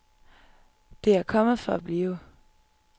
Det er kommet for at blive.